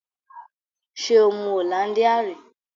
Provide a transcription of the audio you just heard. Ṣé o mu hollandia ri?